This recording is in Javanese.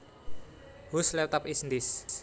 Whose laptop is this